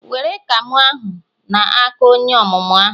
were camo ahu na-aka onye omumu ahu